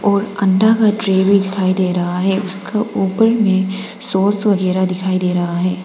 और अण्डा का ट्रे भी दिखाई दे रहा हैं उसका ऊपर में सॉस वगैरा दिखाई दे रहा है।